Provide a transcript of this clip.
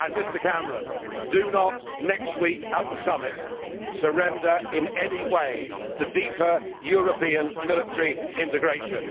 And, Mr Cameron, do not, next week at the summit, surrender in any way to deeper European military integration.